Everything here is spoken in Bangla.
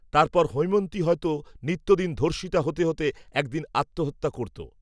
তারপর হৈমন্তী হয়তো নিত্যদিন ধর্ষিতা হতে হতে একদিন আত্মহত্যা করতো